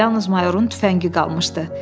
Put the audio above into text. Yalnız mayorun tüfəngi qalmışdı.